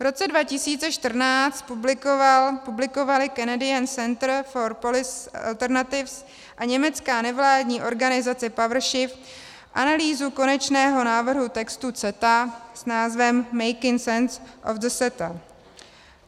V roce 2014 publikovaly Canadian Center for Policy Alternatives a německá nevládní organizace PowerShift analýzu konečného návrhu textu CETA s názvem Making Sense of the CETA.